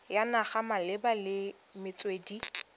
ya naga malebana le metswedi